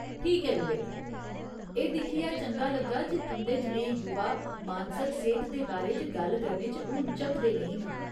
ठीक ऐ विवेक, एह् दिक्खियै चंगा लग्गा जे तुं'दे जनेहे युवा मानसक सेह्त दे बारे च गल्ल करने च हून झक्कदे नेईं न।